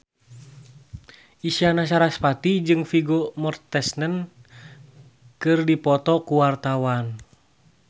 Isyana Sarasvati jeung Vigo Mortensen keur dipoto ku wartawan